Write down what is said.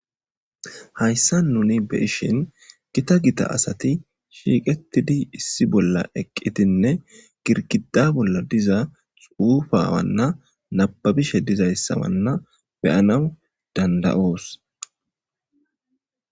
Hayssa nuni be ishin gita gita asati shiiqettidi issi bolla eqqitinne girkida bolla diza xuufa wanna nababishe dizayssawanna beyanaw danda7oos